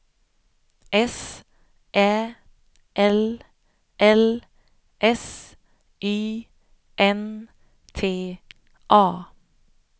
S Ä L L S Y N T A